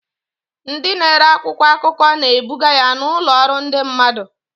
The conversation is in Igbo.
Ndị na-ere akwụkwọ akụkọ na-ebuga ya n'ụlọ ọrụ ndị mmadụ.